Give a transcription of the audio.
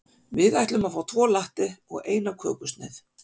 Við ætlum að fá tvo latte og eina kökusneið.